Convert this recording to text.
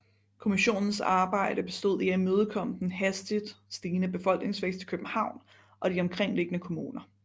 Kommissionens arbejde bestod i at imødekomme den hastigt stigende befolkningsvækst i København og de omkringliggende kommuner